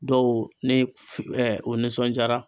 Dɔw ne f o nisɔndiyara